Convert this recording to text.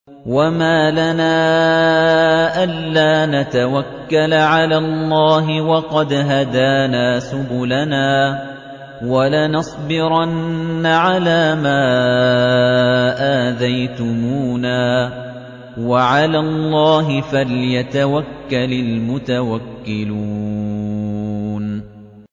وَمَا لَنَا أَلَّا نَتَوَكَّلَ عَلَى اللَّهِ وَقَدْ هَدَانَا سُبُلَنَا ۚ وَلَنَصْبِرَنَّ عَلَىٰ مَا آذَيْتُمُونَا ۚ وَعَلَى اللَّهِ فَلْيَتَوَكَّلِ الْمُتَوَكِّلُونَ